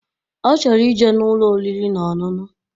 Ọchọrọ ije n'Ụlọ oriri na ọṅụṅụ